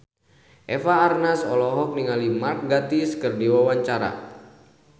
Eva Arnaz olohok ningali Mark Gatiss keur diwawancara